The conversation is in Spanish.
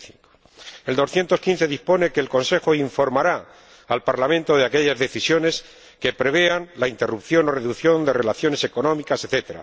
75. El artículo 215 dispone que el Consejo informará al Parlamento de aquellas decisiones que prevean la interrupción o reducción de relaciones económicas, etc.,